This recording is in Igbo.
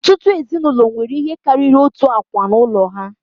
Ọtụtụ ezinụlọ nwere ihe karịrị otu akwa n'ụlọ ha.